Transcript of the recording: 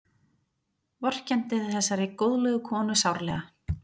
Vorkenndi þessari góðlegu konu sárlega.